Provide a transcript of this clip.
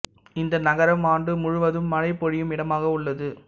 இந்த நகரம் ஆண்டு முழுவதும் மழை பொழியும் இடமாக உள்ளது